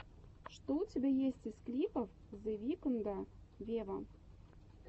что у тебя есть из клипов зе викнда вево